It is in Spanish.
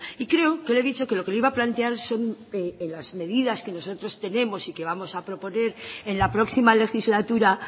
y creo que le he dicho que lo que le iba a plantear son las medidas que nosotros tenemos y que vamos a proponer en la próxima legislatura